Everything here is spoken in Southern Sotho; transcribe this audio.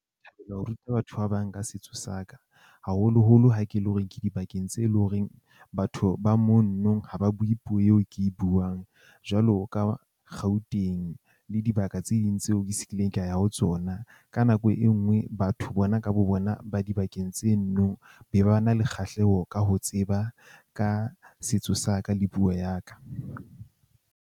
Ho ruta batho ba bang ka setso saka, haholoholo ha ke le hore ke dibakeng tse e leng horeng. Batho ba mono ha ba bue puo eo ke e buang jwalo ka Gauteng le dibaka tse ding tseo ke se kileng ka ya ho tsona. Ka nako e nngwe, batho bona ka bo bona ba dibakeng tse nno be ba na le kgahleho ka ho tseba ka setso sa ka le puo ya ka.